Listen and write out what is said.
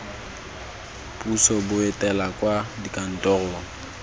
puso bo etela kwa dikantorong